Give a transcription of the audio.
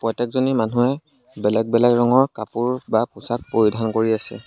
প্ৰত্যেকজনী মানুহে বেলেগ বেলেগ ৰঙৰ কাপোৰ বা পোছাক পৰিধান কৰি আছে।